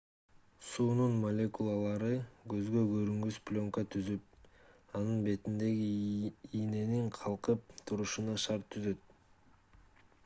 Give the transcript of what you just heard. суунун молекулалары көзгө көрүнгүс пленка түзүп анын бетинде ийненин калкып турушуна шарт түзөт